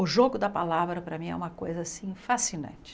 O jogo da palavra, para mim, é uma coisa assim fascinante.